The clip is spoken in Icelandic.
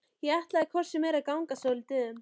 Ég ætla hvort sem er að ganga svolítið um.